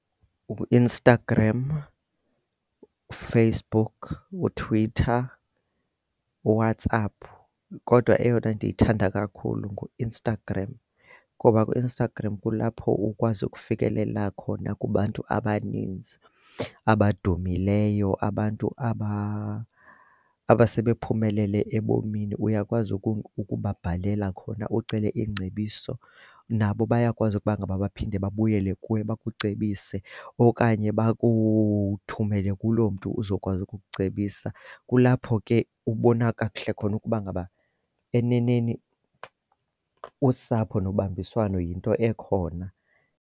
UInstagram, uFacebook, uTwitter, uWhatsApp kodwa eyona ndiyithanda kakhulu nguInstagram. Ngoba kuInstagram kulapho ukwazi ukufikelela khona kubantu abaninzi abadumileyo, abantu aba abasebephumelele ebomini. Uyakwazi ukubabhalela khona ucele iingcebiso, nabo bayakwazi ukuba ngaba baphinde babuyele kuwe bakucebise okanye bakuthumele kuloo mntu uzokwazi ukukucebisa. Kulapho ke ubona kakuhle khona ukuba ngaba eneneni usapho nobambiswano yinto ekhona.